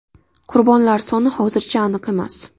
Qurbonlar soni hozircha aniq emas.